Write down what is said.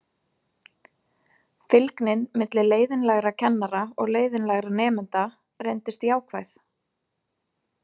Fylgnin milli leiðinlegra kennara og leiðinlegra nemenda reyndist jákvæð.